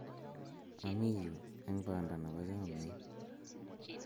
ami yu eng' banda nebo chamiet